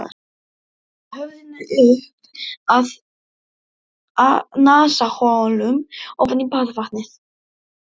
Sökkvi höfðinu upp að nasaholum ofan í baðvatnið.